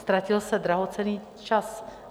Ztratil se drahocenný čas.